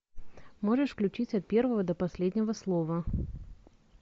можешь включить от первого до последнего слова